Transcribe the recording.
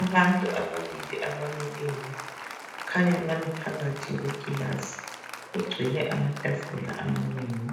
Abantu ababili abamileyo kukhanya bami phakathi kwekilasi kugcwele amatafula amanengi